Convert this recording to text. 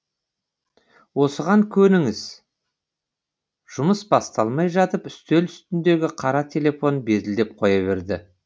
осыған көніңіз жұмыс басталмай жатып үстел үстіндегі қара телефон безілдеп қоя берді